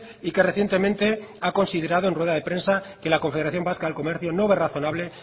y que recientemente ha considerado en rueda de prensa que la confederación vasca del comercio no ve razonable